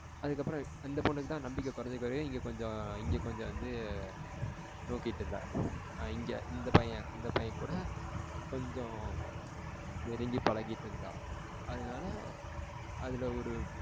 அதுக்கு அப்புறம் இந்த பொண்ணுக்கு நம்பிக்கை குறைய குறைய இங்க கொஞ்சம் இங்க கொஞ்சம் வந்து நோக்கிட்டு இருந்தா. இங்க பையன் இந்த பையன் கூட கொஞ்சம் நெருங்கி பழகிட்டு இருந்தா. அதனால அதுல ஒரு